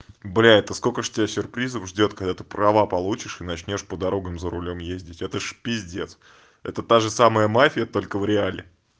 блядь это сколько ж тебя сюрпризов ждёт когда ты права получишь и начнёшь по дорогам за рулём ездить это ж пиздец это та же самая мафия только в реале